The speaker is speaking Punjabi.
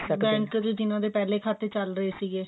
bank ਵਿੱਚ ਜਿਹਨਾਂ ਦੇ ਪਹਿਲੇ ਖਾਤੇ ਚਲ ਰਹੇ ਸੀਗੇ